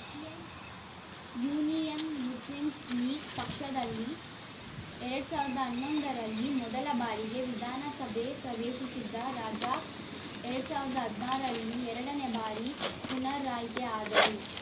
ಡಿಯನ್‌ Union Muslim League ಪಕ್ಷದಿಂದ ಎರಡ್ ಸಾವಿರದ ಹನ್ನೊಂದ ರಲ್ಲಿ ಮೊದಲ ಬಾರಿಗೆ ವಿಧಾನಸಭೆ ಪ್ರವೇಶಿಸಿದ್ದ ರಜಾಕ್‌ ಎರಡ್ ಸಾವಿರದ ಹದಿನಾ ರಲ್ಲಿ ಎರಡನೇ ಬಾರಿ ಪುನರಾಯ್ಕೆ ಆದರು